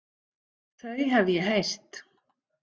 Þau hef ég heyrt.